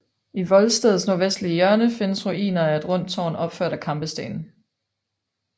I voldstedets nordvestlige hjørne findes ruiner af et rundt tårn opført af kampesten